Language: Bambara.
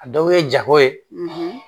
A dɔw ye jago ye